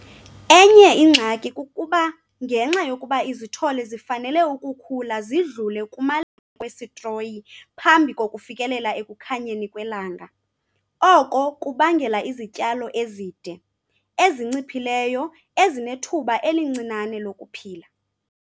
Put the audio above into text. Enye ingxaki kukuba ngenxa yokuba izithole zifanele ukukhula zidlule kumaleko wesitroyi phambi kokufikelela ekukhanyeni kwelanga, oko kubangela izityalo ezide, ezinciphileyo ezinethuba elincinane lokuphila.